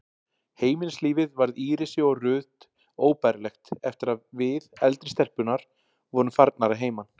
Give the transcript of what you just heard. Heimilislífið varð Írisi og Ruth óbærilegt eftir að við, eldri stelpurnar, vorum farnar að heiman.